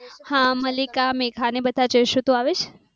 હા મલ્લિકા મેઘા ને બધા જઈશું તું આવીશ?